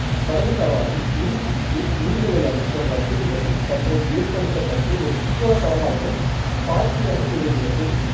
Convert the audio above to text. படகுச் சவாரி மீன்பிடிப்பு நீர் விளையாட்டு போன்ற வசதிகளும் தற்போது ஏற்படுத்தப்பட்டு ஒரு சுற்றுலாத் தலமாகவும் பார்கி அணை திகழ்கிறது